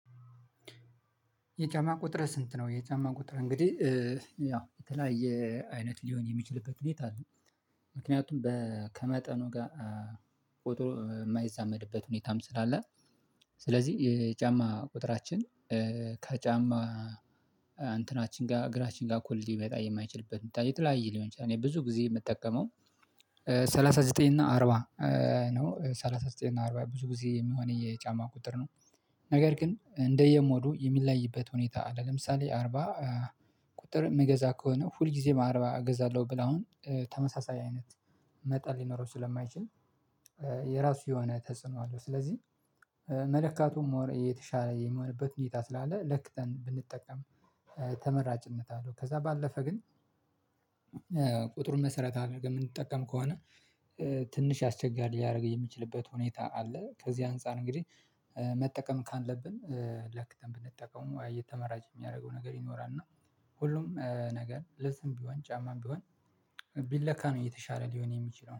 የጫማ ቁጥርህ ስንት ነው? የጫማ ቁጥር እንግዲህ ያው የተለያየ አይነት ሊሆን የሚችልበት ሁኔታ አለ። ምክንያቱም በ ከመጠኑ ጋር ቆጥሮ የማይዛመድበት ሁኔታም ስላለ። ስለዚህ የጫማ ቁጥራችን ከጫማ እንተናችን ጋር እግራችን ጋር እኩል ሊመጣ የማይችልበት የተለያየ ሊሆን ይችላል። እኔ ብዙ ጊዜ የምጠቀመው ሰላሳ ዘጠኝ እና አርባ ነው ሰላሳ ዘጠኝ እና አርባ ብዙ ብዙ የሚሆነኝ የጫማ ቁጥር ነው። ስለዚህ የጫማ ቁጥራችን ከጫማ እንተናችን ጋር እግራችን ጋር እኩል ሊመጣ የማይችልበት የተለያየ ሊሆን ይችላል። እኔ ብዙ ጊዜ የምጠቀመው ሰላሳ ዘጠኝ እና አርባ ነው። ሰላሳ ዘጠኝ እና አርባ ብዙ ብዙ የሚሆነኝ የጫማ ቁጥር ነው የራሱ የሆነ ተጽዕኖ አለው። ስለዚህ መለካቱ ሞር የተሻለ የሚሆንበት ሁኔታ ስላለ ለክተን ብንጠቀም ተመራጭነት አለው። ከዛ ባለፈ ግን ቁጥሩን መሰረት አድርገን የምንጠቀም ከሆነ ትንሸ አስቸጋሪ ሊያደርግ የሚችልበት ሁኔታ አለ። ከዚህ አንፃር እንግዲህ መጠቀም ካለብን ለክተን ብንጠቀመው ተመራጭ የሚያደርገው ነገር ይኖራል ማለት ነው። ሁሉም ነገር ልብስም ቢሆን ጫማም ቢሆን ቢለካ ነው የተሻለ ሊሆን የሚችለው